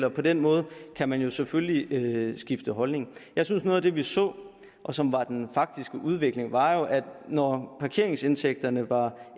og på den måde kan man selvfølgelig skifte holdning noget af det vi så og som var den faktiske udvikling var at når parkeringsindtægterne var